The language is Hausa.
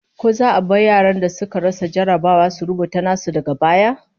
Ko za a bar yaran da suka rasa jarrabawa su rubuta nasu daga baya?